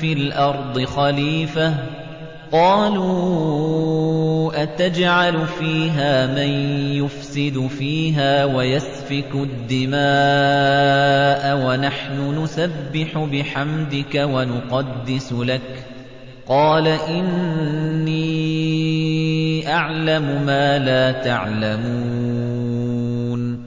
فِي الْأَرْضِ خَلِيفَةً ۖ قَالُوا أَتَجْعَلُ فِيهَا مَن يُفْسِدُ فِيهَا وَيَسْفِكُ الدِّمَاءَ وَنَحْنُ نُسَبِّحُ بِحَمْدِكَ وَنُقَدِّسُ لَكَ ۖ قَالَ إِنِّي أَعْلَمُ مَا لَا تَعْلَمُونَ